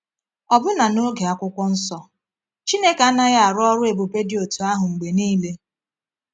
Ọbụna n’oge Akwụkwọ Nsọ, Chineke anaghị arụ ọrụ ebube dị otú ahụ mgbe niile.